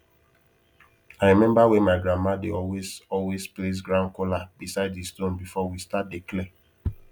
i remember when my grandma dey always always place ground kola beside the stone before we start dey clear